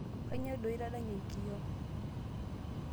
Kainyoo doi itadanyie enkiyoo?